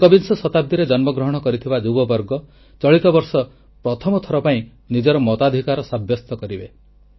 ଏକବିଂଶ ଶତାବ୍ଦୀରେ ଜନ୍ମଗ୍ରହଣ କରିଥିବା ଯୁବବର୍ଗ ଚଳିତବର୍ଷ ପ୍ରଥମଥର ପାଇଁ ନିଜର ମତାଧିକାର ସାବ୍ୟସ୍ତ କରିବେ